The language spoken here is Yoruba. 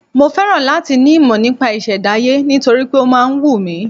Mo féràn láti ní ìmọ̀ nípa ìṣẹ̀dáyé nítorí pé ó máa ń wù mí.